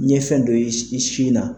N ye fɛn dɔ ye i sin na